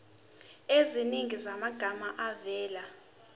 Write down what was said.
eziningi zamagama avela